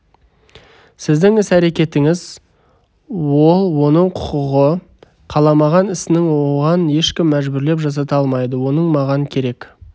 сіздің іс әрекетіңіз ол оның құқығы қаламаған ісін оған ешкім мәжбүрлеп жасата алмайды оның маған керек